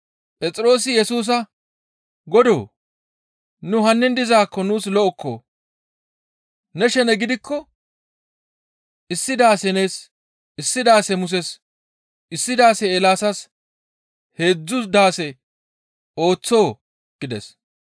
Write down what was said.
Phexroosi Yesusa, «Godoo! Nu hannin dizaakko nuus lo7okko! Ne shene gidikko issi daase nees, issi daase Muses, issi daase Eelaasas heedzdzu daase ooththonii?» gides.